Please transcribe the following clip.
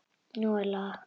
Nú er lag!